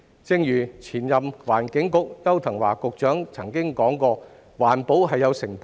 正如前任環境局局長邱騰華曾經指出，環保是有成本的。